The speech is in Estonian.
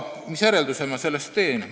Mis järelduse ma sellest teen?